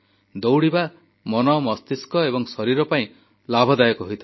ଦୌଡ଼ିବା ମନ ମସ୍ତିଷ୍କ ଏବଂ ଶରୀର ପାଇଁ ଲାଭଦାୟକ ହୋଇଥାଏ